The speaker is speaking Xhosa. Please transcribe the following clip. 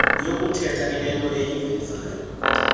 yokuthetha inento eyivezayo